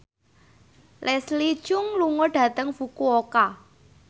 Leslie Cheung lunga dhateng Fukuoka